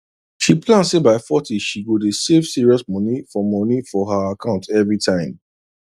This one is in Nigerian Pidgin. she plan say by forty she go dey save serious moni for moni for her account every time